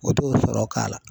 O t'o sɔrɔ k'a la .